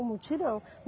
O mutirão.